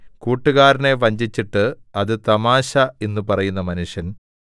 കൂട്ടുകാരനെ വഞ്ചിച്ചിട്ട് അത് തമാശ എന്ന് പറയുന്ന മനുഷ്യൻ